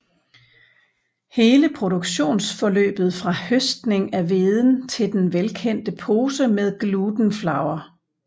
Hele produktionsforløbet fra høstning af hveden til den velkendte pose med Gluten Flour